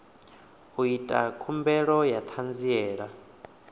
u ita khumbelo ya ṱhanziela